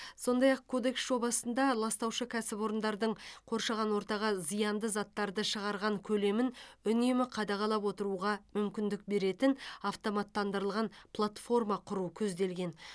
сондай ақ кодекс жобасында ластаушы кәсіпорындардың қоршаған ортаға зиянды заттарды шығарған көлемін үнемі қадағалап отыруға мүмкіндік беретін автоматтандырылған платформа құру көзделген